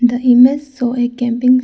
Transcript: The image show a campings --